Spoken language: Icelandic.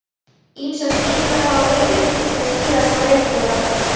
Ýmsar skýringar hafa verið uppi til að skýra þessar breytingar.